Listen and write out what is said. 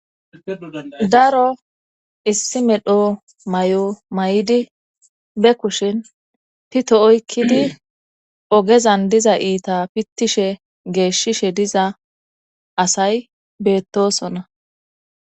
daro issi medho may7o may7idi be kushin pito oykkidi ogezan diza iita pittishe geeshshishe diza asay beettosona